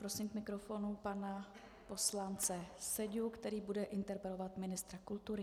Prosím k mikrofonu pana poslance Seďu, který bude interpelovat ministra kultury.